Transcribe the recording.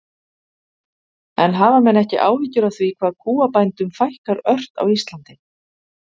En hafa menn ekki áhyggjur af því hvað kúabændum fækkar ört á Íslandi?